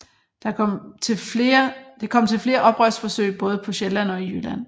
Det kom til flere oprørsforsøg både på Sjælland og i Jylland